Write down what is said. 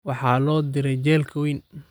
Waxa loo diray jeelka wayn